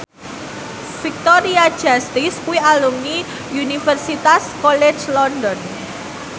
Victoria Justice kuwi alumni Universitas College London